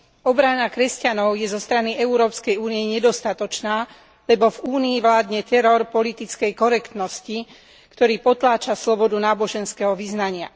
Obrana kresťanov je zo strany Európskej únie nedostatočná, lebo v Únii vládne teror politickej korektnosti, ktorý potláča slobodu náboženského vyznania.